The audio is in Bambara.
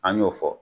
An y'o fɔ